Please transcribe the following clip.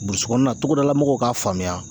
Burusi kɔnɔna na, togodala mɔgɔw k'a faamuya.